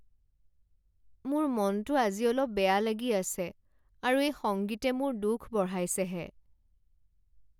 মোৰ মনটো আজি অলপ বেয়া লাগি আছে আৰু এই সংগীতে মোৰ দুখ বঢ়াইছেহে।